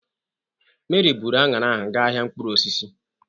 Mary bụru aṅara ahụ ga ahịa mkpụrụosisi.